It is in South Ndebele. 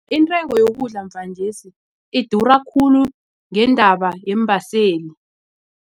Intengo yokudla mvanjesi idura khulu ngendaba yeembaseli.